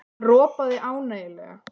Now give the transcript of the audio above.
Hann ropaði ánægjulega.